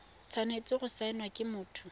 tshwanetse go saenwa ke motho